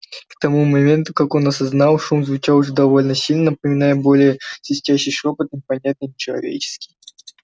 к тому моменту как он осознал шум звучал уже довольно сильно напоминая более всего свистящий шёпот непонятный нечеловеческий